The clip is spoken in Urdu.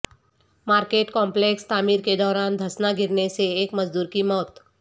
مارکیٹ کمپلکس تعمیر کے دوران دھسنا گرنے سے ایک مزدور کی موت